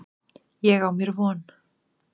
Ég á mér von.